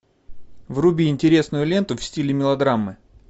вруби интересную ленту в стиле мелодрамы